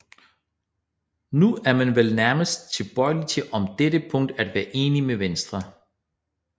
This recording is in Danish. Nu er man vel nærmest tilbøjelig til om dette punkt at være enig med Venstre